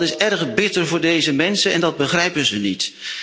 Dat is erg bitter voor deze mensen, en dat begrijpen ze niet.